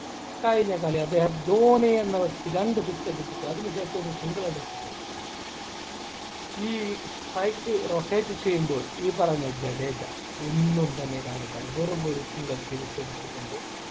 കഴിഞ്ഞ കളി അദ്ദേഹം ധോണി എന്ന വ്യക്തി രണ്ട് six അടിച്ചിട്ട് അതിനുശേഷം ഒരു single അടിച്ചിട്ട് ഈ strike rotate ചെയ്യുമ്പോൾ ഈ പറഞ്ഞ ജഡേജ ഒന്നും തന്നെ കാണിക്കുന്നില്ല വെറുമൊരു single തിരിച്ചു എടുത്തു കൊണ്ട്